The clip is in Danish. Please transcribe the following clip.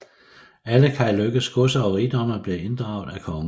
Alle Kai Lykkes godser og rigdomme blev inddraget af kongen